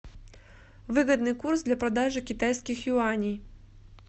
выгодный курс для продажи китайских юаней